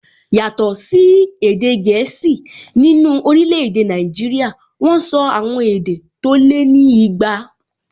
Yàtọ̀ sí èdè gẹ̀ẹ́sì, nínú orílẹ̀-èdè Nàìjíríyà wọ́n sọ àwọn èdè tó lé ní igba